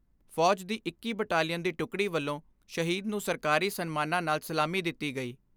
ਫੌਜ ਦੀ ਇੱਕੀ ਬਟਾਲੀਅਨ ਦੀ ਟੁਕੜੀ ਵੱਲੋਂ ਸ਼ਹੀਦ ਨੂੰ ਸਰਕਾਰੀ ਸਨਮਾਨਾਂ ਨਾਲ ਸਲਾਮੀ ਦਿੱਤੀ ਗਈ।